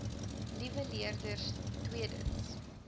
liewe leerders tweedens